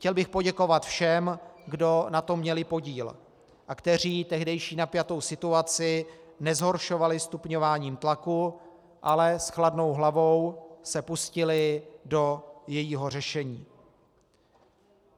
Chtěl bych poděkovat všem, kdo na tom měli podíl a kteří tehdejší napjatou situaci nezhoršovali stupňováním tlaku, ale s chladnou hlavou se pustili do jejího řešení.